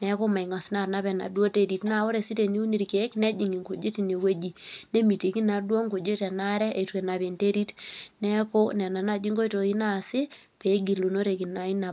Neeku mengas naa anap enaduo terit neeku tiniun irkeek nejing nkujit ineweji nemitiki naa Kuna kujit enaare eitu enapa enterit. Neeku nena naaji nkoitoi naasi opee egilunoreki naa ina bae.